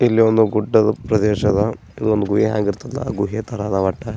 ಇಲ್ಲಿ ಒಂದು ಗುಡ್ಡದ ಪ್ರದೇಶ ಅದ ಇದೊಂದ್ ಗುಹೆ ಹ್ಯಾಂಗ ಇರ್ತದ ಆಹ್ಹ್ ಗುಹೆ ತರ ಅದ